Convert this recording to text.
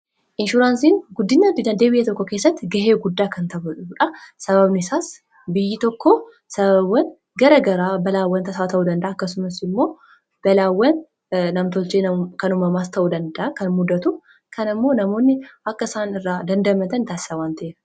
inshuraansiin guddina dinagdee biyya tokko keessatti gahee guddaa kan tabatuudha sababnisaas biyyi tokko sababawan gara garaa balaawwan tasaa ta'uu danda'a akkasumas immoo balaawwan namtolchee kan umamaas ta'u danda'a kan muddatu kan immoo namoonni akkasaan irraa dandamatan taasisa waan ta'ef